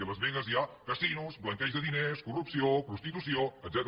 i a las vegas hi ha casinos blanqueig de diners corrupció prostitució etcètera